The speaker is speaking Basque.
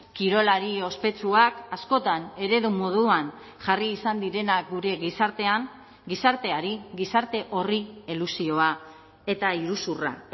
kirolari ospetsuak askotan eredu moduan jarri izan direnak gure gizartean gizarteari gizarte horri elusioa eta iruzurra